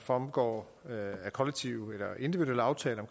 fremgår af kollektive eller individuelle aftaler